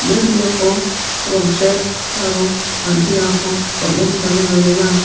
ia biapo rong·sek aro an·chengrangko bang·en dane donenga.